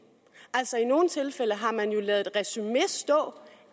i nogle tilfælde har man jo ladet et resumé stå